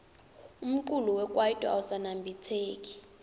umculo wekaito awusaniabitseki